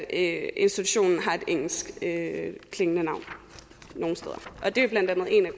institutionen har et engelskklingende navn nogle steder og det er blandt andet en af